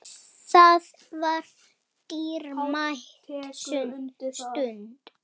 Það var dýrmæt stund.